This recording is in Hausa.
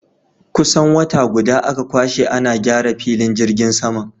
Kusan wata guda aka kwashe ana gyara filin jirgin saman.